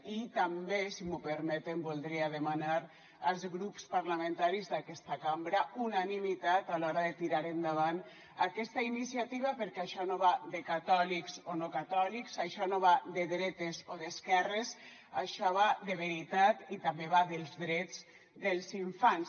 i també si m’ho permeten voldria demanar als grups parlamentaris d’aquesta cambra unanimitat a l’hora de tirar endavant aquesta iniciativa perquè això no va de catòlics o no catòlics això no va de dretes o d’esquerres això va de veritat i també va dels drets dels infants